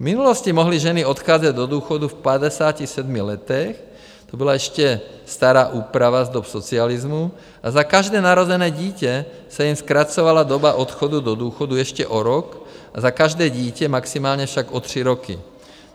V minulosti mohly ženy odcházet do důchodu v 57 letech, to byla ještě stará úprava z dob socialismu, a za každé narozené dítě se jim zkracovala doba odchodu do důchodu ještě o rok, a za každé dítě, maximálně však o tři roky.